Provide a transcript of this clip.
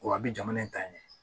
Wa a bi jamana in ta ɲɛ